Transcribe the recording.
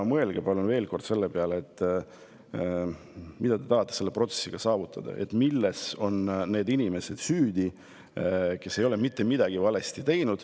Mõelge palun veel kord selle peale, mida te tahate selle protsessiga saavutada, milles on süüdi need inimesed, kes ei ole mitte midagi valesti teinud.